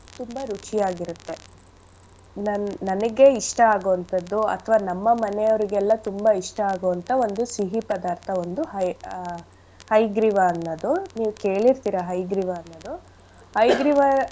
ತುಂಬಾ ರುಚಿಯಾಗಿರತ್ತೆ. ನನ್~ ನನಗೆ ಇಷ್ಟ ಆಗೋ ಅಂಥದ್ದು ಅಥ್ವ ನಮ್ಮ ಮನೆಯವ್ರಿಗೆಲ್ಲ ತುಂಬಾ ಇಷ್ಟ ಆಗೋ ಅಂಥ ಒಂದು ಸಿಹಿ ಪದಾರ್ಥ ಒಂದು ಹಯ್~ ಆ ಹಯಗ್ರೀವ ಅನ್ನೋದು. ನೀವ್ ಕೇಳಿರ್ತಿರ ಹಯಗ್ರೀವ ಅನ್ನೋದು ಹಯಗ್ರೀವ.